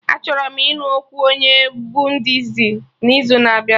Achọrọ m ịnụ okwu onye Buddisti n'izu na abịa